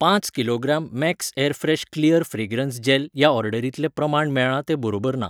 पांच kilogram Max Airfresh clear fragrance gel ह्या ऑर्डरींतलें प्रमाण मेळ्ळां तें बरोबर ना.